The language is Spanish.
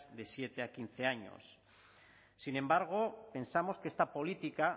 de siete a quince años sin embargo pensamos que esta política